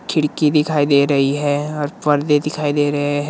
खिड़की दिखाई दे रही है और पर्दे दिखाई दे रहे है।